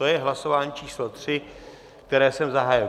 To je hlasování číslo 3, které jsem zahájil.